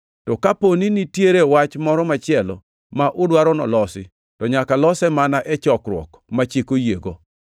To ka dipo ni nitie wach moro machielo ma udwaro nolosi, to nyaka lose mana e chokruok ma chik oyiego.